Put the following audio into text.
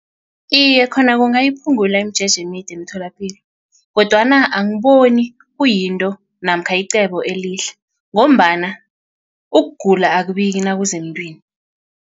Iye khona kungayiphungula imijeje emide emtholapilo kodwana angiboni kuyinto namkha icebo elihle ngombana ukugula akubiki nakuza emntwini.